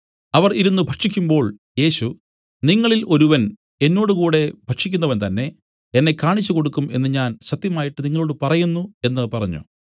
അവർ ഇരുന്നു ഭക്ഷിക്കുമ്പോൾ യേശു നിങ്ങളിൽ ഒരുവൻ എന്നോടുകൂടെ ഭക്ഷിക്കുന്നവൻ തന്നേ എന്നെ കാണിച്ചുകൊടുക്കും എന്നു ഞാൻ സത്യമായിട്ട് നിങ്ങളോടു പറയുന്നു എന്നു പറഞ്ഞു